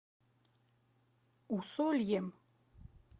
усольем